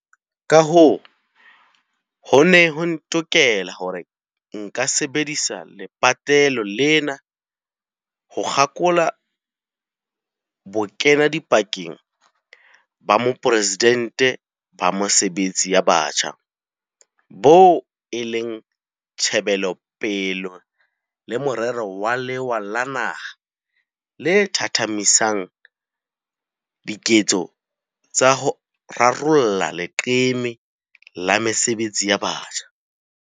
Kahoo, ho ne ho ntokela hore nka sebedisa lepatlelo lena ho kgakola Bokenadipakeng ba Moporesidente ba Mesebetsi ya Batjha, boo e leng tjhebelopele le morero wa lewa la naha le thathamisang diketso tsa ho rarolla leqeme la mesebetsi ya batjha.